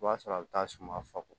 I b'a sɔrɔ a bɛ taa suma fagako